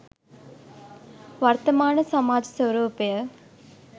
වර්තමාන සමාජ ස්වරූපය